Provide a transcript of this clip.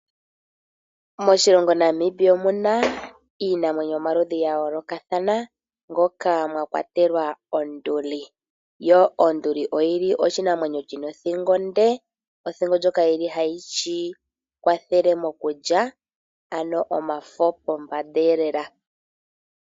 Moshilongo Namibia omuna iinamwenyo yomaludhi gayoloka thana moka mwakwatelwa onduli, yo onduli oyili oshinamwenyo shina othingo onde, othingo ndjoka hayi shi kwathele mokulya ano omafo mombanda iye lela.